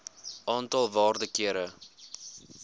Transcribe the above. aantal waarde kere